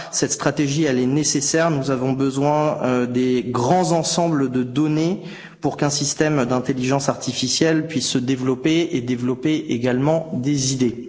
Cette stratégie est nécessaire, nous avons besoin des grands ensembles de données pour qu'un système d'intelligence artificielle puisse se développer et également développer des idées.